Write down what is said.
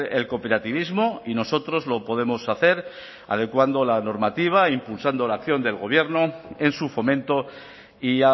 el cooperativismo y nosotros lo podemos hacer adecuando la normativa e impulsando la acción del gobierno en su fomento y